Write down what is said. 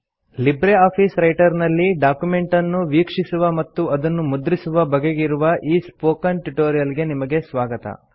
Libre office writer ನಲ್ಲಿ document ಅನ್ನು ವೀಕ್ಷಿಸುವ ಮತ್ತು ಅದನ್ನು ಮುದ್ರಿಸುವ ಬಗೆಗಿರುವ ಈ ಸ್ಪೋಕನ್ ಟ್ಯುಟೋರಿಯಲ್ ಗೆ ನಿಮಗೆ ಸ್ವಾಗತ